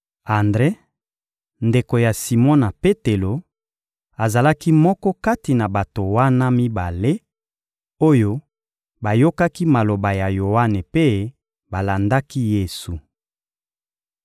Andre, ndeko ya Simona Petelo, azalaki moko kati na bato wana mibale oyo bayokaki maloba ya Yoane mpe balandaki Yesu.